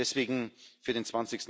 Deswegen Für den